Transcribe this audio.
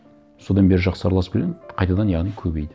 содан бері жақсы араласып келемін қайтадан яғни көбейді